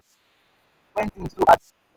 we no dey fail to ask for help when tins too hard for us.